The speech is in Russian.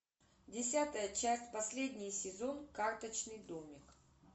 десятая часть последний сезон карточный домик